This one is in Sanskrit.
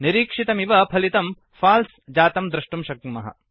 निरीक्षितमिव फलितम् फल्से फाल्स् जातं द्रष्टुं शक्नुमः